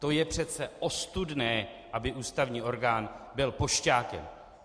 To je přece ostudné, aby ústavní orgán byl pošťákem!